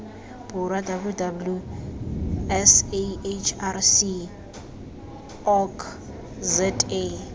borwa www sahrc org za